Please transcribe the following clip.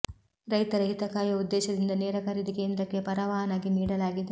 ರೈತರ ಹಿತ ಕಾಯುವ ಉದ್ದೇಶದಿಂದ ನೇರ ಖರೀದಿ ಕೇಂದ್ರಕ್ಕೆ ಪರವಾನಗಿ ನೀಡಲಾಗಿದೆ